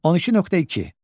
12.2.